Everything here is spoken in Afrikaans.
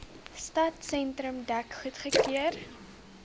stadsentrum dek goedgekeur